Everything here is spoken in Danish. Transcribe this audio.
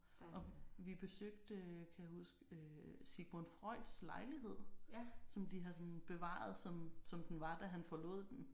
Og vi besøgte kan jeg huske øh Sigmund Freuds lejlighed som de har sådan bevaret som som den var da han forlod den